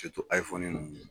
ninnu.